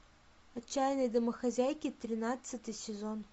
отчаянные домохозяйки тринадцатый сезон